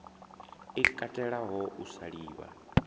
i katelaho u sa livha